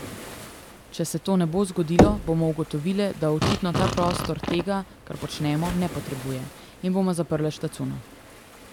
Če se to ne bo zgodilo, bomo ugotovile, da očitno ta prostor tega, kar počnemo, ne potrebuje, in bomo zaprle štacuno.